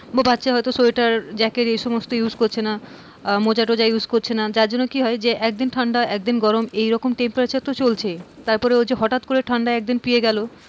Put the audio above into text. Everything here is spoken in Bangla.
বা বাচ্চা হয়তো সোয়েটার, জ্যাকেট এই সমস্ত use করছে না আহ মোজা টোজা use করছে না যার জন্য কি হয় যে একদিন ঠান্ডা একদিন গরম এরকম temperature তো চলছেই। তারপরে হঠাৎ করে একদিন ঠান্ডা পেয়ে গেল,